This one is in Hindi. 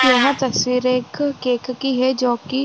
यहाँ तस्वीर एक केक की है जो कि --